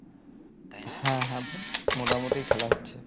হ্যাঁ হ্যাঁ মোটামুটি খেলা হচ্ছে